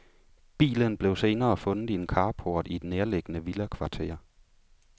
Bilen blev senere fundet i en carport i et nærliggende villakvarter.